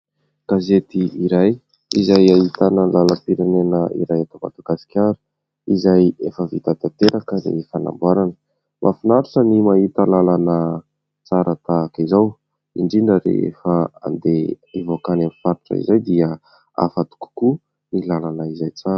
Gazety iray izay ahitana ny lalam-pirenena iray eto madagasikara izay efa vita tanteraka ny fanamboarana. Mahafinaritra ny mahita làlana tsara tahaka izao indrindra rehefa andeha hivoaka any amin'ny faritra izay, dia hafa kokoa ny làlana izay tsara.